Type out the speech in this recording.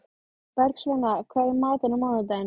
Bergsveina, hvað er í matinn á mánudaginn?